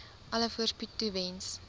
alle voorspoed toewens